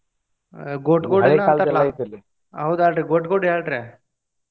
ಆಹ್ ಗೋಟ್ ಗೋಡೆ ಏನೊ ಅಂತಾರಲಾ ಹೌದ ಅಲ್ರೀ ಗೋಟ್ ಗೋಡೆ ಅಲ್ರೀ.